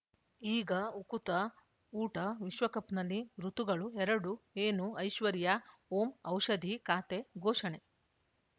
ಈಗ ಉಕುತ ಊಟ ವಿಶ್ವಕಪ್‌ನಲ್ಲಿ ಋತುಗಳು ಎರಡು ಏನು ಐಶ್ವರ್ಯಾ ಓಂ ಔಷಧಿ ಖಾತೆ ಘೋಷಣೆ